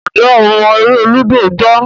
Njé o mo èrè ludo gbà?